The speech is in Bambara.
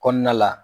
Kɔnɔna la